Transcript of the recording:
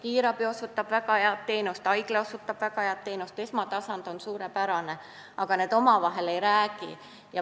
Kiirabiteenus on väga hea, haiglateenus on väga hea, esmatasand on suurepärane, kuid omavahel nad ei suhtle.